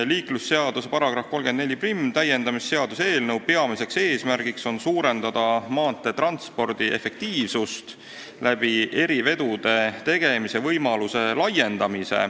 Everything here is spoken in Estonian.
Liiklusseaduse § 341 täiendamise seaduse eelnõu peamine eesmärk on suurendada maanteetranspordi efektiivsust, laiendades erivedude tegemise võimalust.